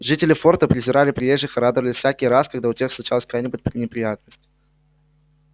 жители форта презирали приезжих и радовались всякий раз когда у тех случалась какая нибудь неприятность